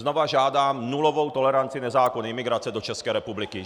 Znovu žádám nulovou toleranci nezákonné imigrace do České republiky.